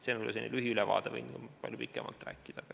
See on selline lühiülevaade, võin ka palju pikemalt rääkida.